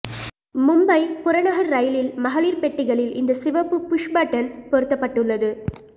மும்பை புறநகர் ரயிலில் மகளிர் பெட்டிகளில் இந்த சிவப்பு புஷ் பட்டன் பொருத்தப்பட்டுள்ளது